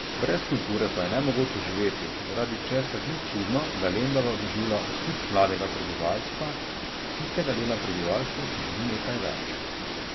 Brez kulture pa je nemogoče živeti, zaradi česar ni čudno, da Lendava doživlja osip mladega prebivalstva, tistega dela prebivalstva, ki želi nekaj več.